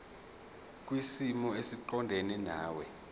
kwisimo esiqondena nawe